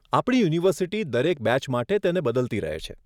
આપણી યુનિવર્સિટી દરેક બેચ માટે તેને બદલતી રહે છે.